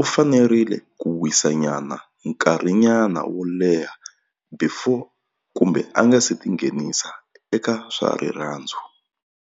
u fanerile ku wisa nyana nkarhi nyana wo leha before kumbe a nga se tinghenisa eka swa rirhandzu.